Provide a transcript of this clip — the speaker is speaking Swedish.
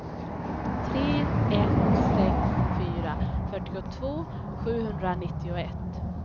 tre ett sex fyra fyrtiotvå sjuhundranittioett